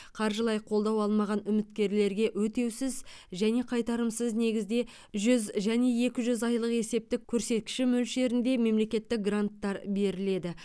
қаржылай қолдау алмаған үміткерлерге өтеусіз және қайтарымсыз негізде жүз және екі жүз айлық есептік көрсеткіш мөлшерінде мемлекеттік гранттар беріледі